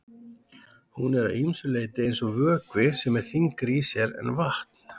Hún er að ýmsu leyti eins og vökvi sem er þyngri í sér en vatn.